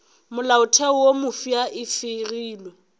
molaotheo wo mofsa e fegilwe